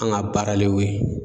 An ga baara le ye o ye